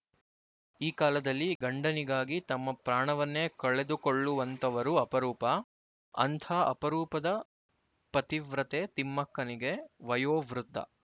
ಈ ಕಾಲದಲ್ಲಿ ಗಂಡನಿಗಾಗಿ ತಮ್ಮ ಪ್ರಾಣವನ್ನೇ ಕಳೆದುಕೊಳ್ಳುವಂತವರು ಅಪರೂಪ ಅಂಥ ಅಪರೂಪದ ಪತಿವ್ರತೆ ತಿಮ್ಮಕ್ಕನಿಗೆ ವಯೋವೃದ್ದ